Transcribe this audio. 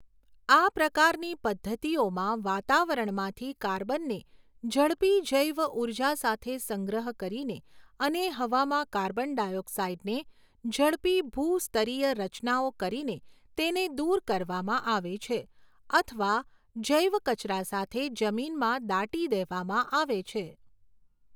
આ પ્રકારની પદ્ધતિઓમાં વાતાવરણમાંથી કાર્બનને ઝડપી જૈવ ઊર્જા સાથે સંગ્રહ કરીને અને હવામાં કાર્બન ડાયોક્સાઇડને ઝડપી ભૂસ્તરીય રચનાઓ કરીને તેને દૂર કરવામાં આવે છે અથવા જૈવ કચરા સાથે જમીનમાં દાટી દેવામાં આવે છે.